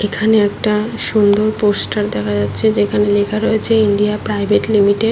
এখানে একটা সুন্দর পোস্টার দেখা যাচ্ছে যেখানে লেখা রয়েছে ইন্ডিয়া প্রাইভেট লিমিটেড ।